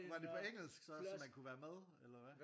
Var det på engelsk så så man kunne være med eller hvad?